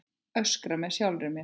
Öskra með sjálfri mér.